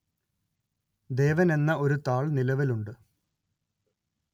ദേവന്‍ എന്ന ഒരു താള്‍ നിലവിലുണ്ട്